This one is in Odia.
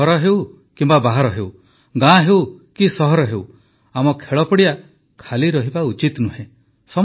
ଘର ହେଉ ବାହାର ହେଉ ଗାଁ ହେଉ କି ସହର ହେଉ ଆମ ଖେଳପଡ଼ିଆ ଖାଲି ରହିବା ଉଚିତ ନୁହେଁ